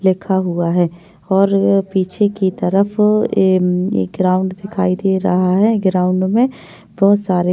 लिखा हुआ है और पीछे की तरफ एक ग्राउंड दिखाई दे रहा है और ग्राउंड में --